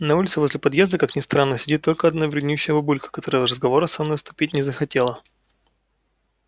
на улице возле подъезда как ни странно сидит только одна вреднющая бабулька которая в разговоры со мной вступить не захотела